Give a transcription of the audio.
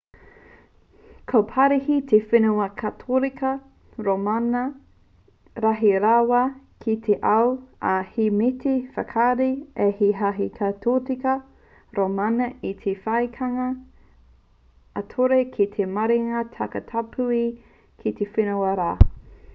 ko parihi te whenua katorika rōmana rahi rawa ki te ao ā he mea ū te whakahē a te hāhi katorika rōmana i te whakaaetanga ā-ture ki te mārena takatāpui ki te whenua rā